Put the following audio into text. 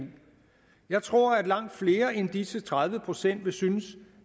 jeg tror at langt flere end disse tredive procent vil synes